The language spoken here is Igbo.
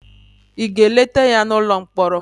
ị ga-eleta ya n'ụlọ mkpọrọ?